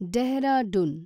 Dehradun